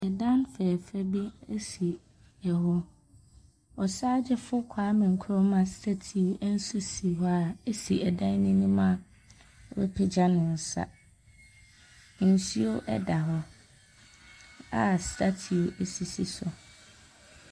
ℇdan fɛɛfɛ bi si hɔ. Ↄsaagyefo Kwame Nkrumah statue nso si hɔ a ɛsi ɛdan no mu a wapagya ne nsa. Nsuo da hɔ a statue no sisi so.